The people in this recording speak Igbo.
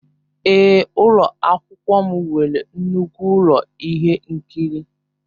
Èé, ụlọ akwụkwọ m nwere nnukwu ụlọ ihe nkiri.